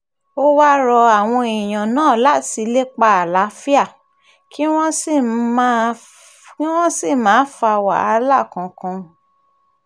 ó wáá rọ àwọn èèyàn náà láti lépa àlàáfíà kí wọ́n sì ńmà fa wàhálà kankan